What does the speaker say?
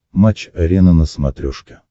матч арена на смотрешке